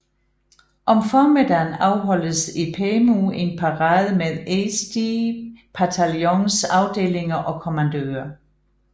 Om formiddagen afholdtes i Pärnu en parade med Eesti pataljons afdelinger og kommandører